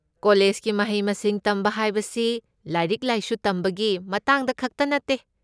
ꯀꯣꯂꯦꯖꯀꯤ ꯃꯍꯩ ꯃꯁꯤꯡ ꯇꯝꯕ ꯍꯥꯏꯕꯁꯤ ꯂꯥꯏꯔꯤꯛ ꯂꯥꯏꯁꯨ ꯇꯝꯕꯒꯤ ꯃꯇꯥꯡꯗ ꯈꯛꯇ ꯅꯠꯇꯦ꯫